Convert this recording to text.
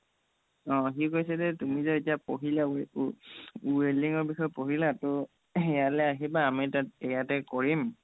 অ সি কৈছে যে তুমি যে এতিয়া পঢ়িলা welding ৰ বিষয়ে পঢ়িলা ত' ইয়ালে আমি তাত ইয়াতে কৰিম